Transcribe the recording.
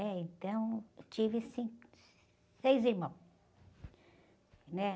né? Então, tive cinco, seis irmãos, né?